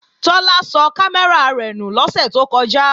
Tọ́lá sọ kámẹ́rà rẹ̀ nù lọ́sẹ̀ tó kọjá